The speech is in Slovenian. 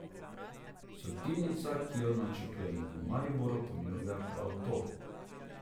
Sortirnica, ki jo načrtujemo v Mariboru ponuja prav to.